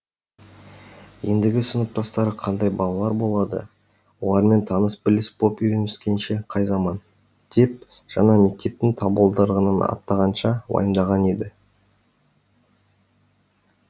ендігі сыныптастары қандай балалар болады олармен таныс біліс боп үйіреніскенше қай заман деп жаңа мектептің табалдырығын аттағанша уайымдаған еді